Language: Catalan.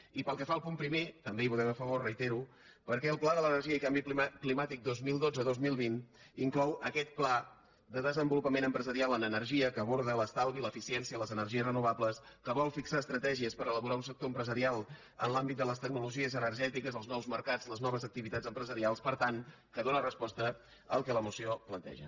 i pel que fa al punt primer també hi votem a favor ho reitero perquè el pla de l’energia i canvi climàtic dos mil dotze dos mil vint inclou aquest pla de desenvolupament empresarial en energia que aborda l’estalvi l’eficiència les energies renovables que vol fixar estratègies per elaborar un sector empresarial en l’àmbit de les tecnologies energètiques els nous mercats les noves activitats empresarials per tant que dóna resposta al que la moció planteja